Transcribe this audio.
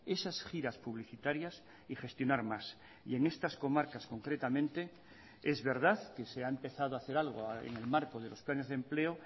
esas giras publicitarias y gestionar más y en estas comarcas concretamente es verdad que se ha empezado a hacer algo en el marco de los planes de empleo